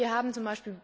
Aber wir haben z.